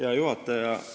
Hea juhataja!